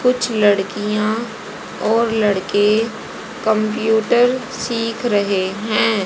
कुछ लड़कियां और लड़के कंप्यूटर सीख रहे हैं।